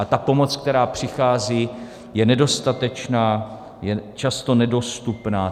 A ta pomoc, která přichází, je nedostatečná, je často nedostupná.